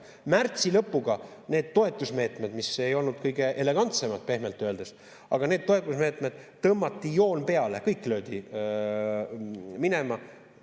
Märtsi lõpuga neile toetusmeetmetele, mis ei olnud kõige elegantsemad, pehmelt öeldes, tõmmati joon peale, kõik löödi minema.